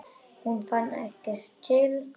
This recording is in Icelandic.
Hún fann ekki til.